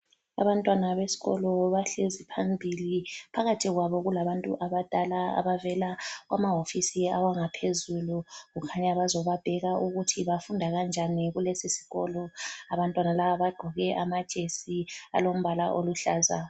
Abantwana beskolo bahlezi phambili phakathi kwabo kulabantu abadala abavela kwamahofisi awangaphezulu. Kukhanya bazobabheka ukuthi bafunda kanjani kulesi sikolo. Abantwana laba bagqoke amajesi alombala oluhlaza.